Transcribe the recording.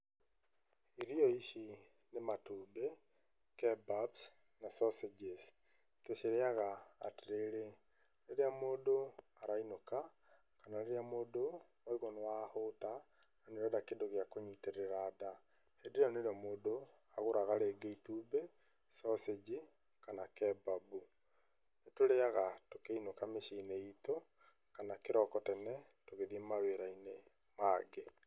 Irio ici nĩ matumbĩ, kebabs na sausages, tũcirĩaga atĩrĩrĩ, rĩrĩa mũndũ arainũka kana rĩrĩa mũndũ waigua nĩ wahũta na nĩ ũrenda kĩndũ gĩa kũnyitĩrĩra nda, hĩndĩ ĩyo nĩrĩo mũndũ agũraga rĩngĩ itumbĩ, sausage kana kebab. Nĩ tũrĩaga tũkĩinũka mĩci-inĩ itũ kana kĩroko tene tũgĩthiĩ mawĩra-inĩ mangĩ.